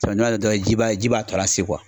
Samiya don dɔrɔn ji b'a ji b'a to lase kuwa